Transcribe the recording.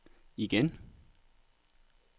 igen